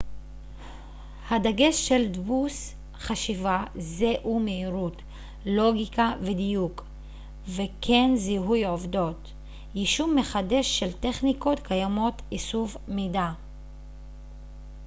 הדגש של דפוס חשיבה זה הוא מהירות לוגיקה ודיוק וכן זיהוי עובדות יישום מחדש של טכניקות קיימות איסוף מידע